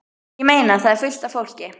Ég meina. það er fullt af fólki.